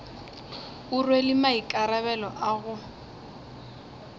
o rwele maikarabelo a go